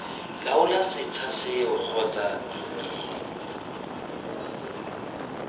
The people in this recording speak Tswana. laola setsha seo kgotsa ii